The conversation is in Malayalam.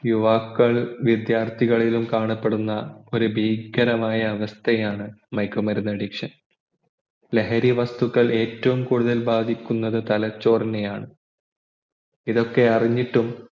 യുവാക്കൾ വിദ്യാർത്ഥികളിലും കാണപ്പെടുന്ന ഒരു ഭീകരമായ അവസ്ഥയാണ് മയക്കുമരുന്ന് addiction ലഹരി വസ്തുക്കൾ ഏറ്റവും കൂടുതൽ ബാധിക്കുന്നത് തലച്ചോറിനെയാണ്